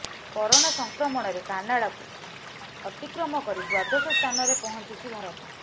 corona ସଂକ୍ରମଣରେ କାନାଡ଼ାକୁ ଅତିକ୍ରମ କରି ଦ୍ବାଦଶ ସ୍ଥାନରେ ପହଞ୍ଚିଛି ଭାରତ